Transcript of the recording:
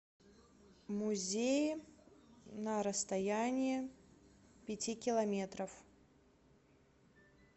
музеи на расстоянии пяти километров